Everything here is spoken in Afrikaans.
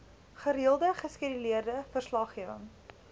gereelde geskeduleerde verslaggewing